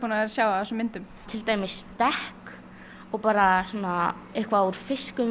að sjá á þessum myndum til dæmis dekk og bara svona eitthvað úr fiskum